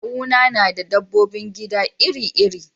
Kawuna na da dabbobin gida iri-iri.